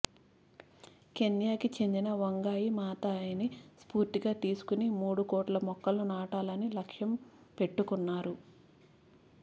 కెన్యాకి చెందిన వంగాయి మాతాయిని స్ఫూర్తిగా తీసుకుని మూడు కోట్ల మొక్కలు నాటాలని లక్ష్యం పెట్టుకున్నారు